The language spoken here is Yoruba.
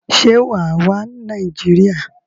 Se wàá wá Nàìjíríà?